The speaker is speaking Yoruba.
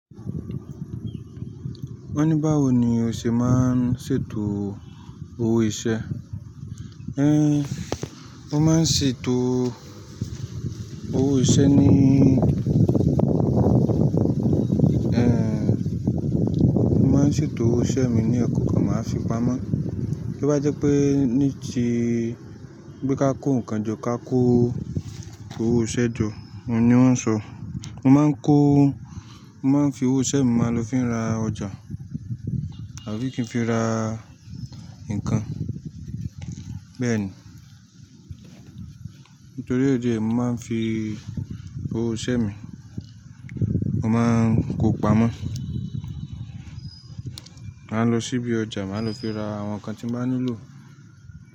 Wọ́n ní báwo ni o ṣe máa ń ṣètò owó iṣẹ́? Én, mo máa ń ṣètò owó iṣẹ́ ní, mo máa ń ṣètò owó iṣẹ́ mi ní ẹ̀kọ̀okan, màá fi pamọ́. Bo bá jẹ́ pé ní tí, pe ká kó nǹkan jọ, ká kó owó iṣẹ́ jọ, òun ni wọ́n ń sọ. Mo máa ń kó, mo máa ń fi owó iṣẹ́ mi máa lọ fi ra ọjà àbí kí n fi ra nǹkan. Bẹ́ẹ̀ ni. Nítorí idi ẹ́yi, mo máa ń fi owó iṣẹ́ mi, mo máa ń kó pamọ́. Màá lọ ṣíbí ọjà, màá lọ fi ra àwọn nǹkan tí mo bá nílò.